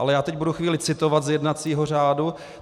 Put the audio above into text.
Ale já teď budu chvíli citovat z jednacího řádu.